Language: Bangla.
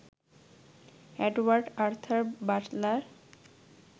Edward Arthur Butler